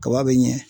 Kaba be ɲɛ